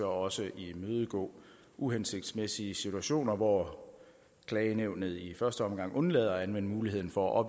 også imødegå uhensigtsmæssige situationer hvor klagenævnet i første omgang undlader at anvende muligheden for at